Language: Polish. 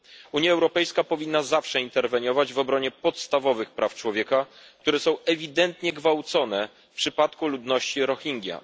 Unia Europejska powinna zawsze interweniować w obronie podstawowych praw człowieka, które są ewidentnie gwałcone w przypadku ludności Rohingja.